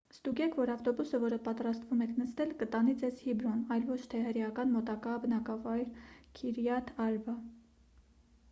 ստուգեք որ ավտոբուսը որը պատրաստվում եք նստել կտանի ձեզ հեբրոն այլ ոչ թե հրեական մոտակա բնակավայր քիրյաթ արբա